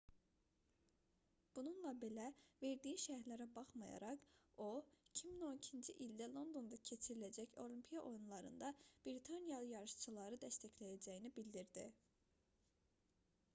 bununla belə verdiyi şərhlərə baxmayaraq o 2012-ci ildə londonda keçiriləcək olimpiya oyunlarında britaniyalı yarışçıları dəstəkləyəcəyini bildirdi